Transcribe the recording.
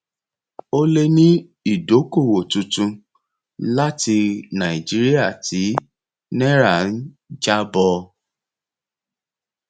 ó lè ní ìdókòwò tuntun láti nàìjíríà tí náírà ń jábọ